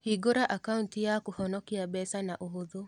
Hingũra akauti ya kũhonokia mbeca na ũhũthũ.